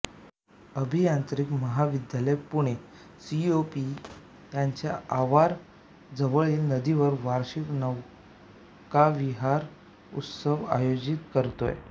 अभियांत्रिकी महाविद्यालय पुणे सीओईपी त्याच्या आवार जवळील नदीवर वार्षिक नौकाविहार उत्सव आयोजित करतो